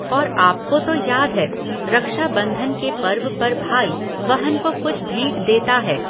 और आपको तो याद है, रक्षाबंधन के पर्व पर भाई, बहन को कुछ भेंट देता है।